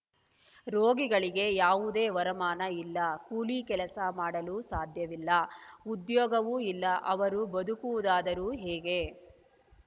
ರೋಗಿಗಳಿಗೆ ಯಾವುದೇ ವರಮಾನ ಇಲ್ಲ ಕೂಲಿ ಕೆಲಸ ಮಾಡಲೂ ಸಾಧ್ಯವಿಲ್ಲ ಉದ್ಯೋಗವೂ ಇಲ್ಲ ಅವರು ಬದುಕುವುದಾದರೂ ಹೇಗೆ